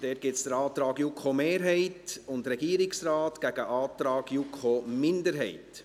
Dazu gibt es den Antrag JuKo-Mehrheit / Regierungsrat gegen den Antrag JuKo-Minderheit.